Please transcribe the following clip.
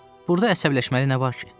Burda əsəbləşməli nə var ki?